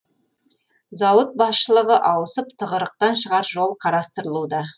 зауыт басшылығы ауысып тығырықтан шығар жол қарастырылуда